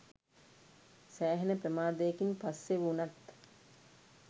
සෑහෙන ප්‍රමාදයකින් පස්සේ වුනත්